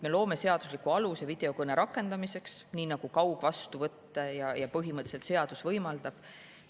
Me loome seadusliku aluse videokõne rakendamiseks, nii nagu ka kaugvastuvõtte põhimõtteliselt seadus võimaldab.